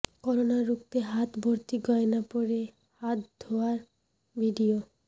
corona রুখতে হাত ভর্তি গয়না পরে হাত ধোয়ার ভিডিয়ো